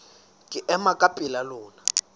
ke ema ka pela lona